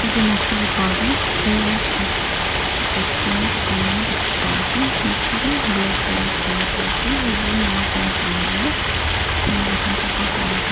etu noksa te pa tu iris opti optimis kuina dikhi pa ase nichete blackberrys kuina pa ase ekjon uniform cholai na window khan sapha kure pa--